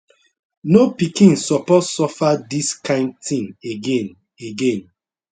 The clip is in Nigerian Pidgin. no pikin suppose suffer dis kind tin again again